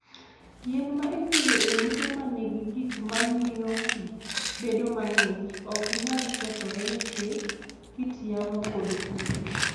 Yien ma ipidho e ute ma nigi gik ma miyo pi bedo mang'ich, ok nyal kethore nikech kit yamo kod kute.